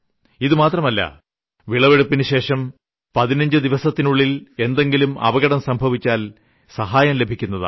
ഇതു മാത്രമല്ല വിളവെടുപ്പിനുശേഷം 15 ദിവസത്തിനുള്ളിൽ എന്തെങ്കിലും അപകടം സംഭവിച്ചാൽ സഹായം ലഭിക്കുന്നതാണ്